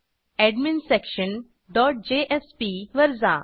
एडमिन्सेक्शंडोत JSP वर जा